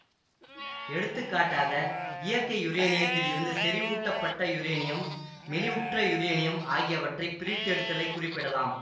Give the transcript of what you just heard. எடுத்துக்காட்டாக இயற்கை யுரேனியத்தில் இருந்து செறிவூட்டப்பட்ட யுரேனியம் மெலிவுற்ற யுரேனியம் ஆகியவற்றை பிரித்தெடுத்தலைக் குறிப்பிடலாம்